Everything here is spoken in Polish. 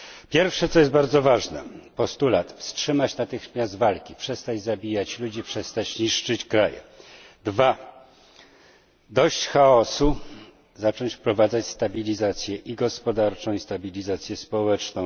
Pierwsze, co jest bardzo ważne postulat wstrzymać natychmiast walki, przestać zabijać ludzi, przestać niszczyć kraj. Dwa dość chaosu zacząć wprowadzać stabilizację i gospodarczą, i stabilizację społeczną.